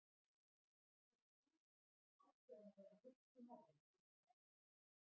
Fyrir England ætti hann að vera rétti maðurinn fyrir starfið.